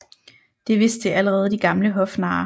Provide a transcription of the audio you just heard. Det vidste allerede de gamle hofnarre